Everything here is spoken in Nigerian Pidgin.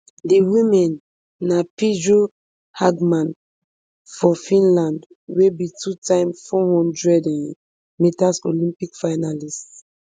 di women na pirjo hggman of finland wey be twotime four hundred um metres olympic finalist